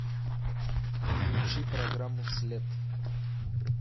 включи программу след